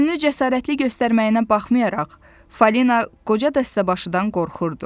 Özünü cəsarətli göstərməyinə baxmayaraq, Fəlinə qoca dəstəbaşından qorxurdu.